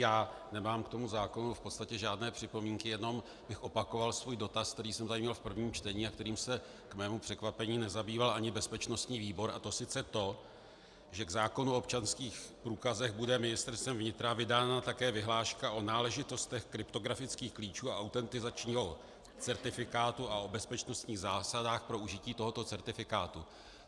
Já nemám k tomu zákonu v podstatě žádné připomínky, jenom bych opakoval svůj dotaz, který jsem tady měl v prvním čtení a kterým se k mému překvapení nezabýval ani bezpečnostní výbor, a to sice to, že k zákonu o občanských průkazech bude Ministerstvem vnitra vydána také vyhláška o náležitostech kryptografických klíčů a autentizačního certifikátu a o bezpečnostních zásadách pro užití tohoto certifikátu.